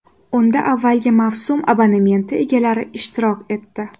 Unda avvalgi mavsum abonementi egalari ishtirok etdi.